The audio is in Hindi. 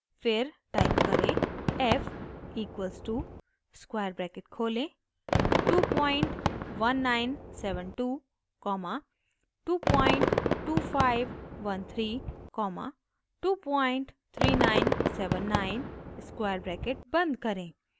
फिर टाइप करें: f equals to square bracket खोलें 21972 कॉमा 22513 कॉमा 23979 स्क्वायर ब्रैकेट बंद करें